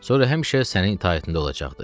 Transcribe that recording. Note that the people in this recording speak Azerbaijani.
Sonra həmişə sənin itaətində olacaqdır.